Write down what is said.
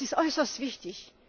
Das ist äußerst wichtig.